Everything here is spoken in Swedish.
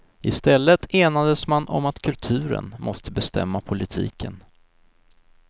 I stället enades man om att kulturen måste bestämma politiken.